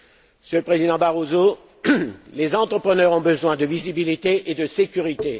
Monsieur le Président Barroso, les entrepreneurs ont besoin de visibilité et de sécurité.